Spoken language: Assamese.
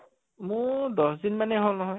মোৰ দশ দিনমানে হʼল নহয়